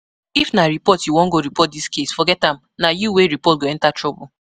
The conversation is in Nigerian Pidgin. If na report you wan go report dis case, forget am. Na you wey report go enter trouble